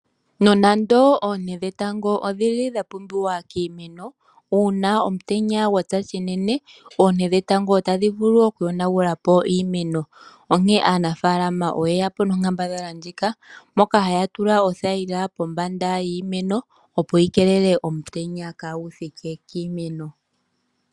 Nonando oonte dhetango odhili dhapumbiwa kiimeno, uuna omutenya gwatsa shinene oonte dhetango otadhi vulu okuyonagula po iimeno. Onkene aanafalama oye ya po nonkambadhala ndjika moka haya tula othayila pombanda yiimeno opo yi keelele omutenya kaagu thike kiimeno.